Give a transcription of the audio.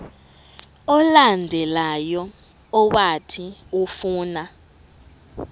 olandelayo owathi ufuna